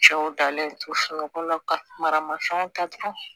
Cɛw dalen to sunɔgɔ la ka mara mafɛnw ta tugu